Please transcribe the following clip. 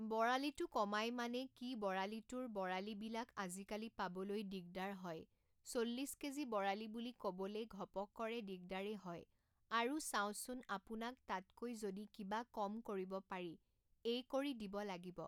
বৰালিটো কমাই মানে কি বৰালিটোৰ বৰালিবিলাক আজিকালি পাবলৈ দিগদাৰ হয় চল্লিছ কেজি বৰালি বুলি ক'বলে ঘপকৰে দিগদাৰেই হয় বাৰু চাওঁচোন আপোনাক তাতকৈ যদি কিবা কম কৰিব পাৰি এই কৰি দিব লাগিব